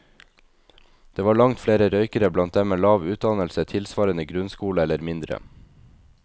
Det var langt flere røykere blant dem med lav utdannelse tilsvarende grunnskole eller mindre.